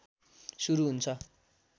शुरू हुन्छ